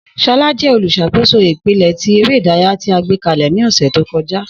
Shola jẹ oluṣakoso ipele ti ere idaraya ti a gbekalẹ ni ọsẹ to kọja.